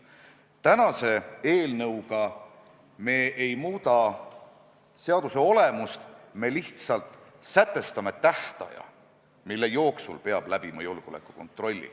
Tänase eelnõuga me mitte ei muuda seaduse olemust, vaid lihtsalt sätestame tähtaja, mille jooksul peab läbima julgeolekukontrolli.